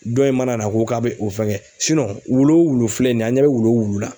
Dɔ in mana na ko k'a bɛ o fɛŋɛ wulu o wulu filɛ nin a' ɲɛ bɛ wulu o wulu la